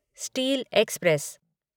steel express